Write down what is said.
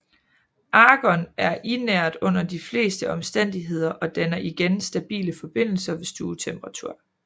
Argon er inert under de fleste omstændigheder og danner ingen stabile forbindelser ved stuetemperatur